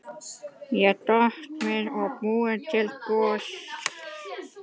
Ég doka við og bið til guðs.